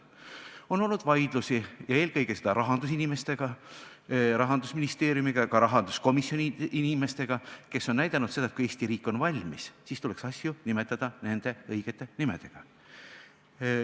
On olnud vaidlusi ja eelkõige rahandusinimestega, Rahandusministeeriumiga ja ka rahanduskomisjoni inimestega, kes on öelnud, et kui Eesti riik on valmis, siis tuleks asju nimetada nende õigete nimedega.